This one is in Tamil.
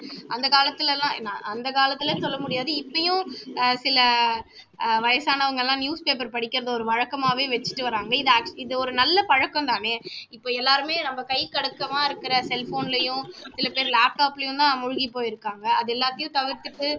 ஆஹ் சில அஹ் வயசானவங்க எல்லாம் newspaper படிக்கிறது ஒரு வழக்காமாவே வச்சுட்டு வர்றாங்க இது ஆட் இது ஒரு நல்ல பழக்கம் தானே இப்போ எல்லாருமே நம்ம கைக்கு அடக்கமா இருக்குற cell phone லயும் சில பேரு laptop லயும் தான் மூழ்கி போயிருக்காங்க அது எல்லாத்தையும் தவிர்த்திட்டு